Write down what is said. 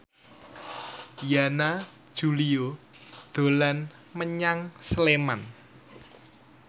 Yana Julio dolan menyang Sleman